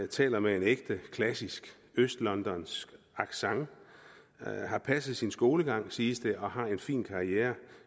taler med en ægte klassisk østlondonsk accent har passet sin skolegang siges det og har en fin karriere